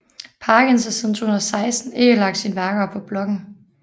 Parkins har siden 2016 ikke lagt sine værker op på bloggen